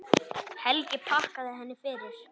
Helgi þakkaði henni fyrir.